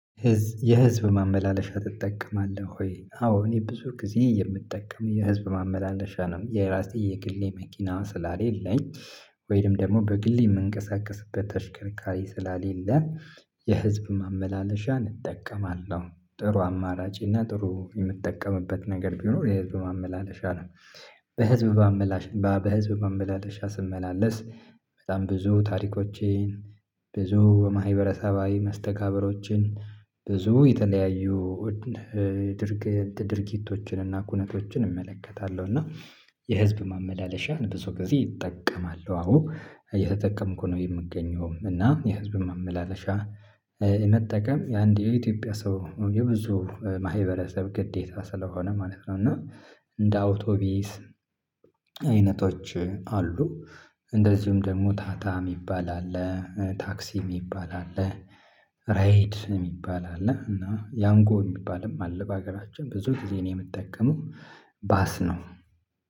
የህዝብ ማመላለሻ ትጠቀማለህ ወይ? አዎ እኔ ብዙ ጊዜ የምጠቀም የህዝብ ማመላለሻ ነው የራሴ የግሌ መኪና ስላሌለኝ ወይም ደግሞ በግሌ የምንቀሳቀስበት ተሽከርካሪ ስላሌለ የህዝብ ማመላለሻ እጠቀማለሁ ጥሩ አማራጭ እና ጥሩ የምጠቀምበት ነገር ቢኖር የህዝብ ማመላለሻ ነው። በህዝብ ማመላለሻ በህዝብ ማመላለሻ ስመላለስ በጣም ብዙ ታሪኮችን ብዙ የማህበረሰባዊ መስተጋብሮችን ብዙ የተለያዩ ድርጊቶችን እና ኩነቶችን እመለከታለሁ። እና የህዝብ ማመላለሻን ብዙ ጊዜ ይጠቀማሉ አዎ እየተጠቀምኩ ነው የምገኘውም እና የህዝብ ማመላለሻ የመጠቀም የአንድ የኢትዮጵያ ሰው የብዙ ማህበረሰብ ግዴታ ስለሆነ ማለት ነው። እና እንደ አውቶቢስ አይነቶች አሉ። እንደዚሁም ደግሞ ታታ የሚባል አለ ታክሲ የሚባል አለ። ራይድ የሚባል አለ እና ያንጎ የሚባልም በሀገራችን ብዙ ጊዜ የምትጠቀመው ባስ ነው።